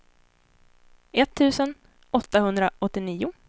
etttusen åttahundraåttionio